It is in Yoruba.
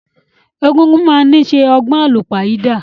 Egungun máa ni ṣe ọgbọn àlúpàyídà.